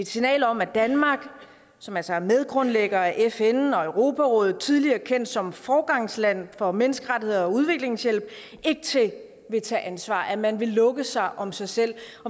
signal om at danmark som altså er medgrundlægger af fn og europarådet og tidligere kendt som foregangsland for menneskerettigheder og udviklingshjælp ikke vil tage ansvar og at man vil lukke sig om sig selv